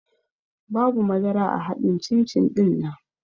Babu madara a haɗin cin-cin ɗinnan